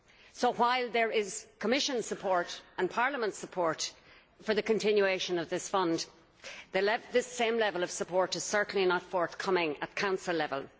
So, while there is Commission support and Parliament support for the continuation of this fund, this same level of support is certainly not forthcoming at Council level.